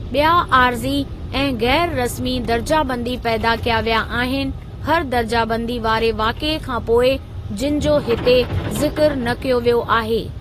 ॿिया आरज़ी ऐं ग़ैरु रस्मी दरजाबंदी पैदा कया विया आहिनि हर दर्जा बंदी वारे वाक़िए खां पोइ जिनि जो हिते ज़िक्र न कयो वियो आहे।